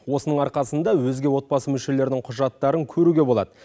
осының арқасында өзге отбасы мүшелерінің құжаттарын көруге болады